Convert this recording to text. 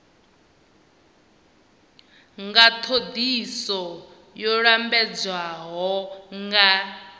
nga thodisiso yo lambedzwaho nga